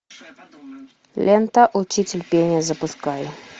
лента учитель пения запускай